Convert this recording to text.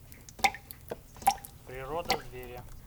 природа зверя